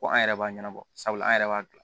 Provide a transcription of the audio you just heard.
Ko an yɛrɛ b'a ɲɛnabɔ sabula an yɛrɛ b'a dilan